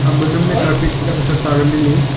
ama namley hitak kasa towel tailey.